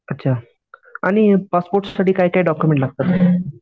अच्छा आणि पासपोर्टसाठी काय काय डॉक्युमेंट लागतात?